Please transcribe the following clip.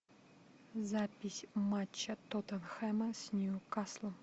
запись матча тоттенхэма с ньюкаслом